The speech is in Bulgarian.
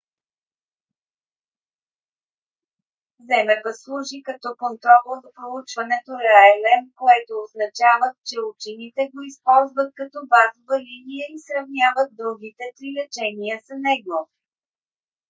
zmapp служи като контрола в проучването palm което означава че учените го използват като базова линия и сравняват другите три лечения с него